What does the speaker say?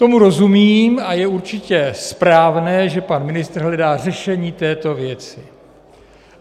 Tomu rozumím a je určitě správné, že pan ministr hledá řešení této věci.